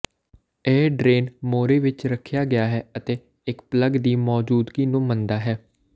ਇਹ ਡਰੇਨ ਮੋਰੀ ਵਿੱਚ ਰੱਖਿਆ ਗਿਆ ਹੈ ਅਤੇ ਇੱਕ ਪਲੱਗ ਦੀ ਮੌਜੂਦਗੀ ਨੂੰ ਮੰਨਦਾ ਹੈ